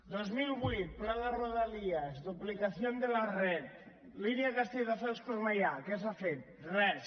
dos mil vuit pla de rodalies duplicación de la red línia castelldefels cornellà què s’ha fet res